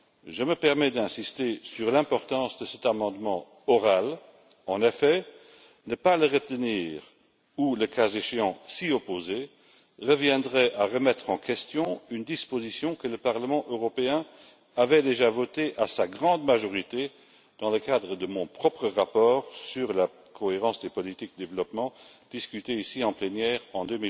Je me permets d'insister sur l'importance de cet amendement oral. En effet, ne pas le retenir ou, le cas échéant, s'y opposer, reviendrait à remettre en question une disposition que le Parlement européen avait déjà votée à sa grande majorité dans le cadre de mon propre rapport sur la cohérence des politiques au service du développement discuté ici en plénière en